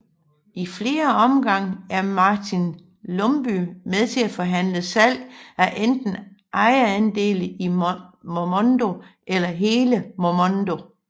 I flere omgange er Martin Lumbye med til at forhandle salg af enten ejerandele i Momondo eller hele Momondo